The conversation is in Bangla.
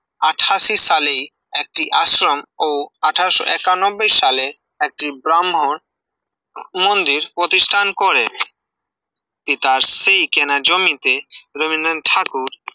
আঠাশী সালেই একটি আশ্রম ও একানব্বই সাল একটি ব্রাহ্মণ মন্দির প্রতিষ্ঠান করেন, পিতার সেই কেনা জমিতে রবীন্দ্রনাথ ঠাকুর